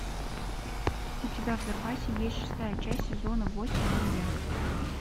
у тебя в запасе есть шестая часть сезона восемь маньяк